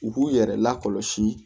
U b'u yɛrɛ lakɔlɔsi